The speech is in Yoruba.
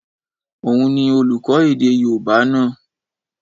Òun ni olùkọ́ èdè yóòbá náà